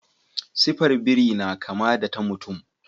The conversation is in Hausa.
Sifar biri na kama da ta mutum.